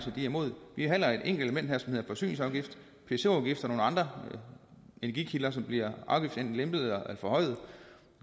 imod vi behandler et enkelt element her som hedder forsyningsafgift pso afgift og nogle andre energikilder som bliver afgiftslempet eller forhøjet